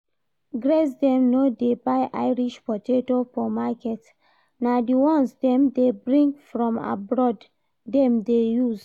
Grace dem no dey buy irish potato for market, na the ones dem dey bring from abroad dem dey use